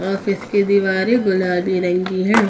Office के दीवारे गुलाबी रंगी है।